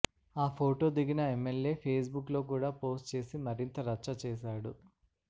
ఆ ఫోటో దిగిన MLA Facebook లో కూడా పోస్ట్ చేసి మరింత రచ్చ చేశాడు